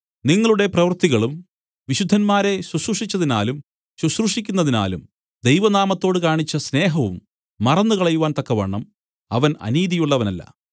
നിങ്ങളുടെ പ്രവൃത്തികളും വിശുദ്ധന്മാരെ ശുശ്രൂഷിച്ചതിനാലും ശുശ്രൂഷിക്കുന്നതിനാലും ദൈവ നാമത്തോട് കാണിച്ച സ്നേഹവും മറന്നുകളയുവാൻ തക്കവണ്ണം അവൻ അനീതിയുള്ളവനല്ല